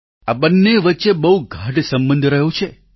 આ બંને વચ્ચે બહુ ગાઢ સંબંધ રહ્યો છે